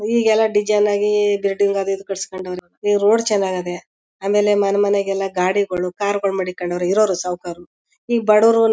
ಈಗೇಲ design ಆಗಿ building ಅದು ಇದು ಕಟುಸ್ಕೊಂಡ್ ಅವರೇ ಈ ರೋಡ್ ಚನ್ನಾಗ್ ಅದೇ ಆಮೇಲೆ ಮನ್ಮನೆಗೆಲ್ಲ ಗಾಡಿಗಳು ಕಾರ್ ಗಳ್ ಮಾಡಿಕೊಂಡವ್ರೆ ಇರವ್ರು ಸಾಕವ್ರು ಈಗ ಬಡುವರು--